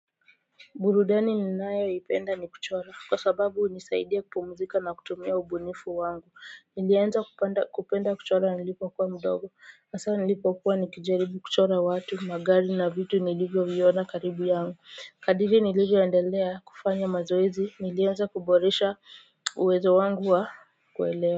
Burudani ninayoipenda ni kuchora kwa sababu hunisaidia kupumzika na kutumia ubunifu wangu niliamza kupenda kuchora nilipokuwa mdogo hasa nilipokuwa nakijaribu watu magari na vitu nilivyoviona karibu yangu kadiri nilivyo endelea kufanya mazoezi nilianza kuboresha uwezo wangu wa kuelewa.